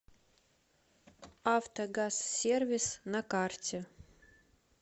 автогазсервис на карте